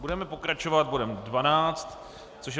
Budeme pokračovat bodem 12, což je